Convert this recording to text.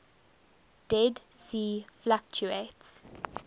dead sea fluctuates